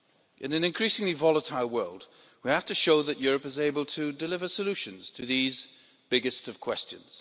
In an increasingly volatile world, we have to show that Europe is able to deliver solutions to these biggest of questions.